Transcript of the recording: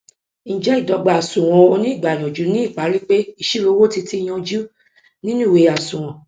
ǹjẹ ìdọgba àsunwon oníìgbàyànjú ni ìparí pé ìṣirò owo ti ti yanjú nínu ìwé àsunwon